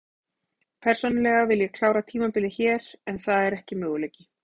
Persónulega vil ég klára tímabilið hér en það er ekki möguleiki.